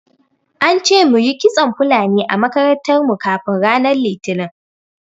An ce muyi kitson Fulani a makarantar mu kafin ranar Litinin.